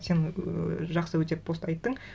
сен жақсы өте пост айттың